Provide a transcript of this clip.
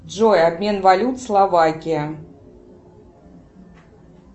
джой обмен валют словакия